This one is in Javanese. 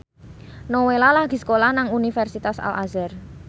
Nowela lagi sekolah nang Universitas Al Azhar